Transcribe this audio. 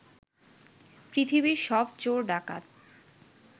পৃথিবীর সব চোর-ডাকাত